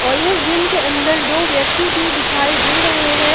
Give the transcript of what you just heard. और इस जिम के अंदर दो व्यक्ति भी दिखाई दे रहे हैं।